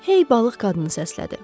Hey balıq qadını səslədi.